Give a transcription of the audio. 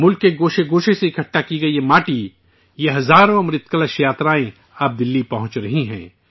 ملک کے کونے کونے سے جمع کی گئی یہ مٹی، یہ ہزاروں امرت کلش یاترائیں اب دہلی پہنچ رہی ہیں